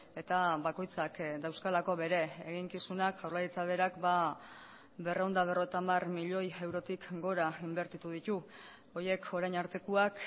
eta bakoitzak dauzkalako bere eginkizunak jaurlaritza berak berrehun eta berrogeita hamar milioi eurotik gora inbertitu ditu horiek orain artekoak